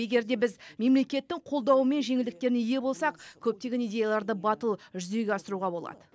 егер де біз мемлекеттің қолдауы мен жеңілдіктеріне ие болсақ көптеген идеяларды батыл жүзеге асыруға болады